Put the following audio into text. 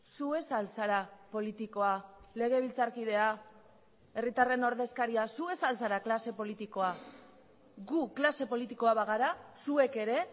zu ez al zara politikoa legebiltzarkidea herritarren ordezkaria zu ez al zara klase politikoa gu klase politikoa bagara zuek ere